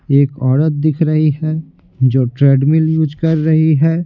एक औरत दिख रही है जो ट्रेडमिल यूज कर रही है।